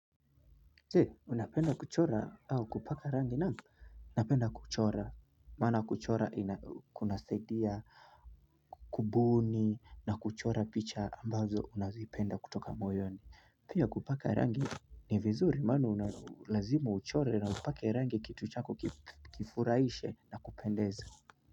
Je, unapenda kuchora au kupaka rangi naam? Napenda kuchora. Maana kuchora kunasaidia kubuni na kuchora picha ambazo unazipenda kutoka moyoni. Pia kupaka rangi ni vizuri maana lazima huchore na upake rangi kitu chako kifurahishe na kupendeza.